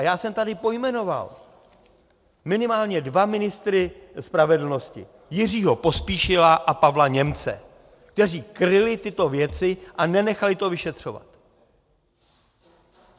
A já jsem tady pojmenoval minimálně dva ministry spravedlnosti, Jiřího Pospíšila a Pavla Němce, kteří kryli tyto věci a nenechali to vyšetřovat.